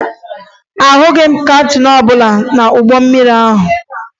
Ahụghị m kaptịn ọbụla n'ụgbọ mmiri ahụ